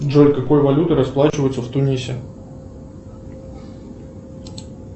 джой какой валютой расплачиваются в тунисе